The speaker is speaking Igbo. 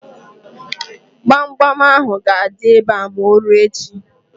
Gbamgbam ahụ ga-adị ebe a ma o ruo echi.